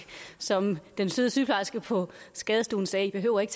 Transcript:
som den søde sygeplejerske på skadestuen sagde i behøver ikke